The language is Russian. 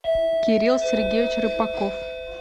кирилл сергеевич рыбаков